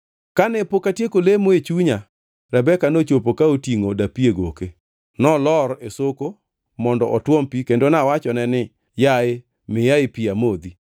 “Kane pok atieko lemo e chunya, Rebeka nochopo ka otingʼo dapi e goke. Nolor e soko mondo otuom pi kendo nawachone ni, ‘Yaye miyae pi amodhi.’